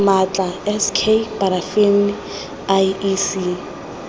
maatla s k parafini iec